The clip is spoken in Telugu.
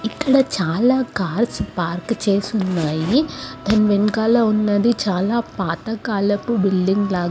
ఇక్కడ చాలా కార్స్ పార్క్ చేసి ఉన్నాయి దాని వెనుకల ఉన్నది చాల పాతకాలపు బిల్డింగ్ లాగ్ --